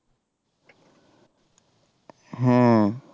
হ্যাঁ